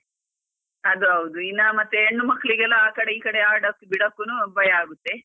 ಅದು ಹೌದು, ಇನ್ನಾ ಮತ್ತೆ ಹೆಣ್ಣು ಮಕ್ಲಿಗೆಲ್ಲ ಆ ಕಡೆ ಈ ಕಡೆ ಆಡೋಕೆ ಬಿಡೋಕುನು ಭಯ ಆಗುತ್ತೆ.